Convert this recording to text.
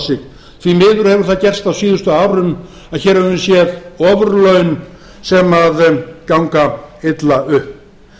sig því miður hefur það gerst á síðustu árum að hér höfum við séð ofurlaun sem ganga illa upp